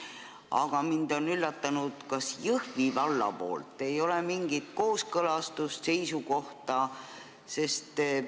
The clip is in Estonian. Aga mind on üllatanud, et Jõhvi vallalt ei ole mingit kooskõlastust ega seisukohta.